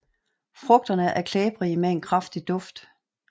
Frugterne er klæbrige med en kraftig lugt